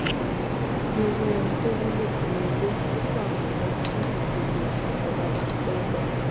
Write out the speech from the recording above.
àti owó oun tówúlò ní ilé sípò àkọ́kọ́ nígbà tí owó oṣù ìjọba bá ń pẹ́ gbà